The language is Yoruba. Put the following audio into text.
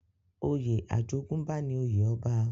oyè ajogún bá ní òye ọba.